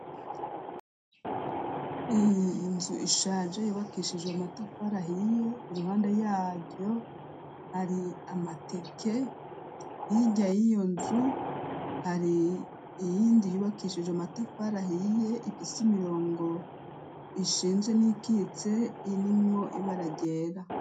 Inzu ishaje yubakishijwe amatafara ahiye iruhande yayo hari amateke hijyaye iyo nzu hari iyindi yubakishijwe amatafara hiye ipis imirongo ishinje n'ikitse irmwo ibara ryera.